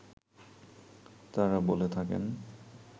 তাঁরা বলে থাকেন